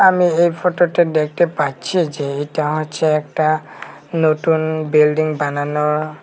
আমি এই ফটোটা দেখতে পাচ্ছি এই যে এটা হচ্ছে একটা নতুন বিল্ডিং বানানো।